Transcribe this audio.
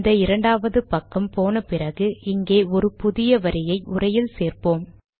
இந்த இரண்டாவது பக்கம் போன பிறகு இங்கே ஒரு புதிய வரியை உரையில் சேர்ப்போம்